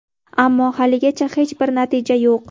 Ammo, haligacha hech bir natija yo‘q.